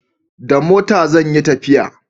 Da mota zan yi tafiya